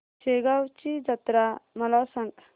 शेगांवची जत्रा मला सांग